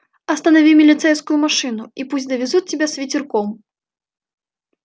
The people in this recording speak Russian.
останови милицейскую машину и пусть довезут тебя с ветерком